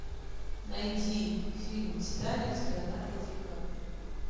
найди фильм титаник с леонардо ди каприо